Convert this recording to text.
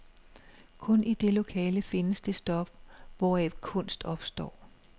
Kun i det lokale findes det stof, hvoraf kunst opstår.